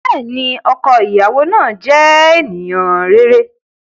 Bẹẹni, ọkọ iyawo naa jẹ eniyan rere.